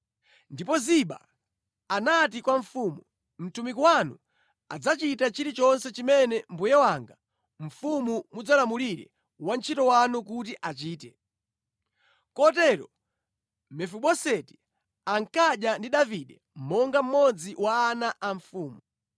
Ndipo Ziba anati kwa mfumu, “Mtumiki wanu adzachita chilichonse chimene mbuye wanga mfumu mudzalamulire wantchito wanu kuti achite.” Kotero Mefiboseti ankadya ndi Davide monga mmodzi wa ana a mfumu.